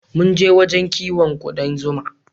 Munje wajen kiwon kuɗan zuma